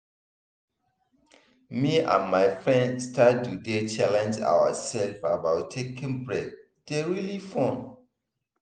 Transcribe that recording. me and my friends start to dey challenge ourselves about taking break dey really fun.